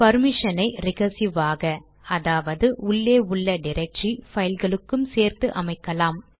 பர்மிஷனை recursive ஆக அதாவது உள்ளே உள்ள டிரக்டரி பைல்களுக்கும் சேர்த்து அமைக்கலாம்